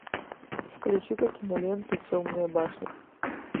включи ка киноленту темная башня